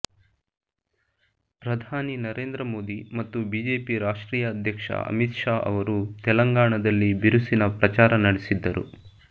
ಪ್ರಧಾನಿ ನರೇಂದ್ರ ಮೋದಿ ಮತ್ತು ಬಿಜೆಪಿ ರಾಷ್ಟ್ರೀಯ ಅಧ್ಯಕ್ಷ ಅಮಿತ್ ಷಾ ಅವರು ತೆಲಂಗಾಣದಲ್ಲಿ ಬಿರುಸಿನ ಪ್ರಚಾರ ನಡೆಸಿದ್ದರು